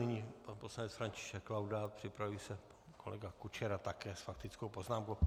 Nyní pan poslanec František Laudát, připraví se kolega Kučera také s faktickou poznámkou.